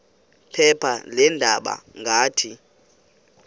phepha leendaba ngathi